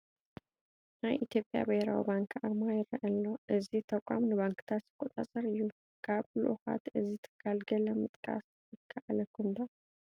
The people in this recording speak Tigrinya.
ናይ ኢትዮጵያ ብሄራዊ ባንኪ ኣርማ ይርአ ኣሎ፡፡ እዚ ተቋም ንባንክታት ዝቖፃፀር እዩ፡፡ ካብ ልኡኻት እዚ ትካል ገለ ምጥቃስ ይከኣለኩም ዶ?